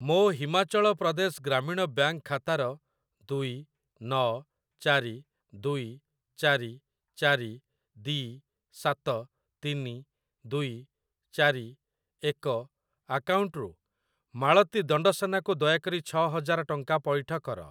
ମୋ ହିମାଚଳ ପ୍ରଦେଶ ଗ୍ରାମୀଣ ବ୍ୟାଙ୍କ୍‌ ଖାତାର ଦୁଇ ନ ଚାରି ଦୁଇ ଚାରି ଚାରି ଦୀ ସାତ ତିନି ଦୁଇ ଚାରି ଏକ ଆକାଉଣ୍ଟରୁ ମାଳତୀ ଦଣ୍ଡସେନା କୁ ଦୟାକରି ଛ ହଜାର ଟଙ୍କା ପଇଠ କର।